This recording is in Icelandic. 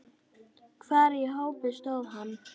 Hvar í hópi stóð hann?